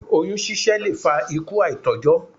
Oyún ṣiṣẹ́ lè fa ikú àìtójó.